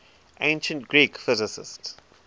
ancient greek physicists